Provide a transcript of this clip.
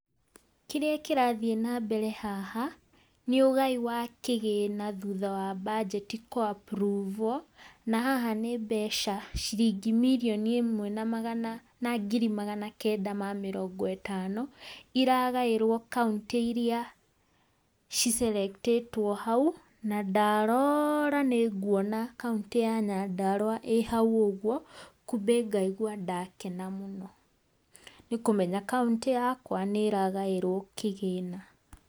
Kĩrĩa kĩrathiĩ nambere haha, nĩ ũgai wa kĩgĩna thutha wa mbajeti kũapruvũo, na haha nĩ mbeca ciringi mirioni ĩmwe na magana na ngiri magana kenda ma mĩrongo ĩtano, iragaĩrwo kauntĩ iria cicerektĩtwo hau, na ndarora nĩ nguona kauntĩ ya Nyandarũa ĩ hau ũguo, kumbĩ ngaigwa ndakena mũno, nĩ kũmenya kauntĩ yakwa nĩ ĩragaĩrwo kĩgĩna.